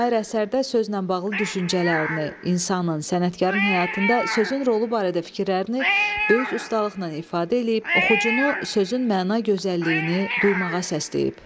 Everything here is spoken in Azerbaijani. Şair əsərdə sözlə bağlı düşüncələrini, insanın, sənətkarın həyatında sözün rolu barədə fikirlərini böyük ustalıqla ifadə eləyib, oxucunu sözün məna gözəlliyini duymağa səsləyib.